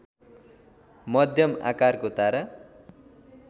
मध्यम आकारको तारा